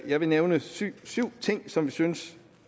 jeg vil nævne syv ting som vi synes